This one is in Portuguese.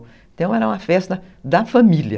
Então era uma festa da família.